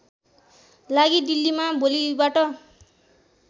लागि दिल्लीमा भोलिबाट